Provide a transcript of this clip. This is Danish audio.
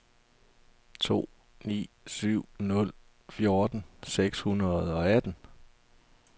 to ni syv nul fjorten seks hundrede og atten